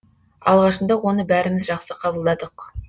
алғашында оны бәріміз жақсы қабылдадық